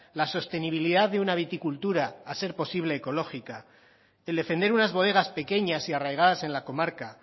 la sostenibilidad de una viticultura a ser posible ecológica el defender unas bodegas pequeñas y arraigadas en la comarca